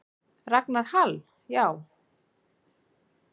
Ragnar Hall: Já.